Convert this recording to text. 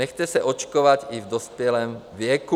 Nechte se očkovat i v dospělém věku.